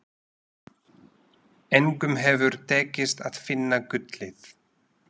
Engum hefur tekist að finna gullið.